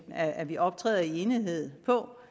at at vi optræder i enighed på